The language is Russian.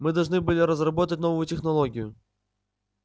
мы должны были разработать новую технологию